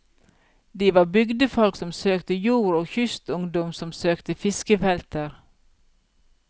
De var bygdefolk som søkte jord og kystungdom som søkte fiskefelter.